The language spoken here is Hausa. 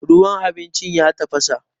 ruwan abincin ya tafasa